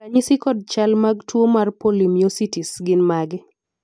ranyisi kod chal ag tuo mar polymyositis gin mage?